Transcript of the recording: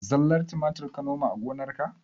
Zallar tumatir ka noma a gonarka?